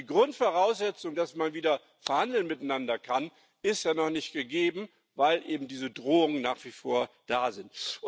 Also die Grundvoraussetzung, dass man wieder miteinander verhandeln kann, ist ja noch nicht gegeben, weil eben diese Drohungen nach wie vor da sind.